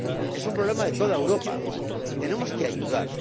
Es un problema de toda Europa y tenemos que ayudar.